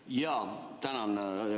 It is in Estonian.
Jaa, tänan!